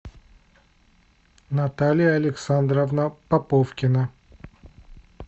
наталья александровна поповкина